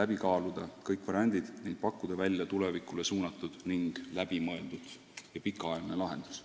läbi kaaluda kõik variandid ning pakkuda välja tulevikule suunatud hästi läbimõeldud ja pikaajaline lahendus.